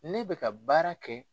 Ne bɛ ka ka baara kɛ.